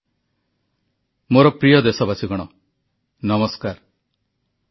ଗାନ୍ଧୀଜୀଙ୍କ 150 ତମ ଜନ୍ମାବର୍ଷିକୀ ଉପଲକ୍ଷେ ପ୍ଲାଷ୍ଟିକ ମୁକ୍ତ ଭାରତ ଗଠନ ନିମନ୍ତେ ପ୍ରଧାନମନ୍ତ୍ରୀଙ୍କ ଆହ୍ବାନ